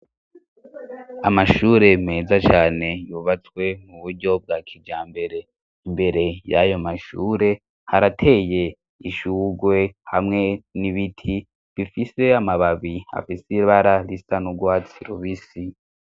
Amashure meza cane yubatswe mu buryo bwa kija mbere imbere yayo mashure harateye ishurwe hamwe n'ibiti bifise amababi afise ibara risa n'ugwatsi rubisi.